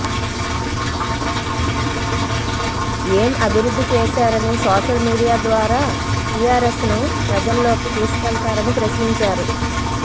ఏం అభివృద్ధి చేశారని సోషల్ మీడియా ద్వారా టీఆర్ఎస్ను ప్రజల్లోకి తీసుకెళతారని ప్రశ్నించారు